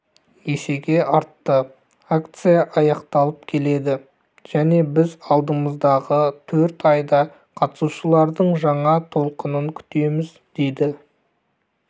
есеге артты акция аяқталып келеді және біз алдымыздағы төрт айда қатысушылардың жаңа толқынын күтеміз деді